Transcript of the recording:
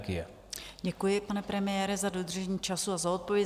Děkuji, pane premiére, za dodržení času a za odpověď.